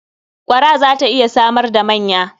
Ƙwara za ta iya samar da manya.